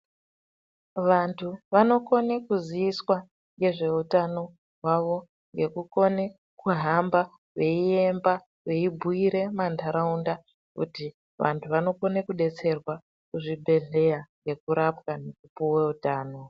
Vantu vanokone kuziiswa ngezveutano hwavo ngekukone kuhamba veiemba veibhuire mundaraunda kuti vantu vanokone kudetserwa kuzvibhedhleya nekurapwa nekupuwe utano.